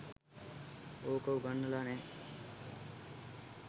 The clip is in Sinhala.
ඕක උගන්නලා නෑ